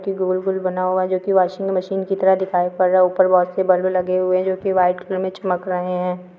की गोल - गोल बना हुआ है जोकि वाशिंग मशीन की तरह दिखाई पड़ रहा है ऊपर बहोत से बल्ब लगे हुए है जोकि वाइट कलर में चमक रहे हैं।